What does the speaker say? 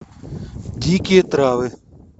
дикие травы